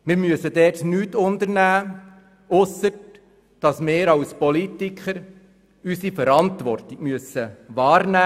Dort müssen wir nichts unternehmen, ausser dass wir als Politiker unsere Verantwortung wahrzunehmen haben.